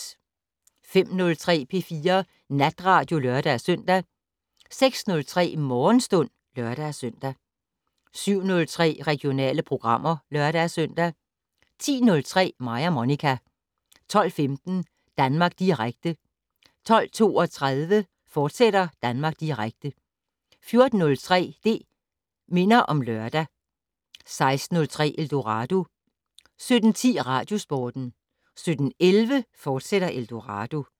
05:03: P4 Natradio (lør-søn) 06:03: Morgenstund (lør-søn) 07:03: Regionale programmer (lør-søn) 10:03: Mig og Monica 12:15: Danmark Direkte 12:32: Danmark Direkte, fortsat 14:03: Det' Minder om Lørdag 16:03: Eldorado 17:10: Radiosporten 17:11: Eldorado, fortsat